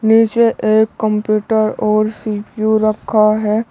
नीचे एक कंप्यूटर और सी_पी_यू रखा है।